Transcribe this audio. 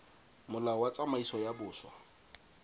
molao wa tsamaiso ya boswa